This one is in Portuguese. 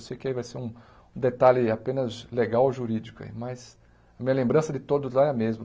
Eu sei que aí vai ser um detalhe apenas legal e jurídico aí, mas a minha lembrança de todos lá é a mesma.